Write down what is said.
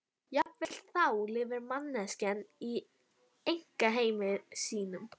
Jafnvel þá lifir manneskjan í einkaheimi sínum.